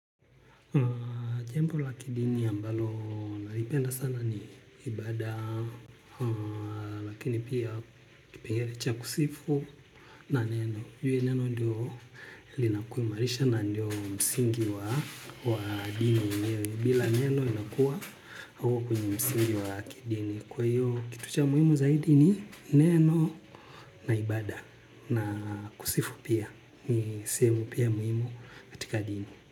Jembo la kidini ambalo naripenda sana ni ibada, lakini pia kipengere cha kusifu na neno. Jue neno ndio linakuimarisha na ndio msingi wa dini. Bila neno inakuwa hauko kwenye msingi wa kidini. Kwa hiyo kitu cha muhimu zaidi ni neno na ibada na kusifu pia ni sehemu pia muhimu katika dini.